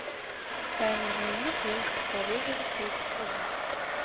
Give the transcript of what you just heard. тайный дневник девушки по вызову третий сезон